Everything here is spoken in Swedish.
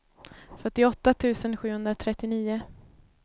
fyrtioåtta tusen sjuhundratrettionio